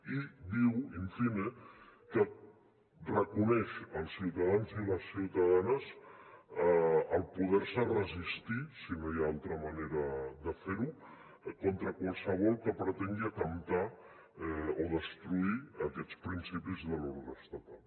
i diu in fine que reconeix als ciutadans i les ciutadanes poder se resistir si no hi ha altra manera de fer ho contra qualsevol que pretengui atemptar o destruir aquests principis de l’ordre estatal